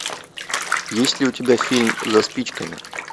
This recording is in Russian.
есть ли у тебя фильм за спичками